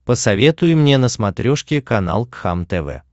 посоветуй мне на смотрешке канал кхлм тв